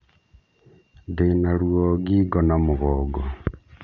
Ndĩna ruo ngingo na mũgongo